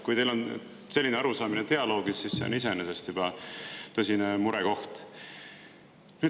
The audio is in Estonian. Kui teil on selline arusaamine dialoogist, siis see on iseenesest juba tõsine murekoht.